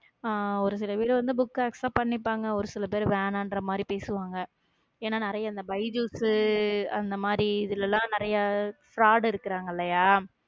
ஹம் ஒரு சில வீடு வந்து, book அ accept பண்ணிப்பாங்க ஒரு சில பேர் வேணான்ற மாதிரி பேசுவாங்க ஏன்னா நிறைய இந்த பயஜுஸ் அந்த மாதிரி இதுல எல்லாம் நிறைய fraud இருக்கிறாங்க இல்லையா